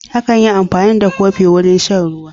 Akan yi amfani da kofi wurin shan ruwa.